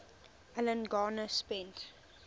alan garner spent